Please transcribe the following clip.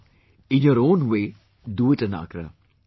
No, in your own way, do it in Agra